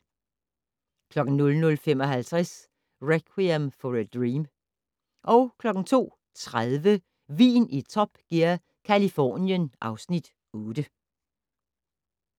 00:55: Requiem For a Dream 02:30: Vin i Top Gear - Californien (Afs. 8)